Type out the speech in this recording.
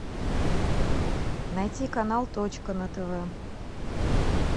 найти канал точка на тв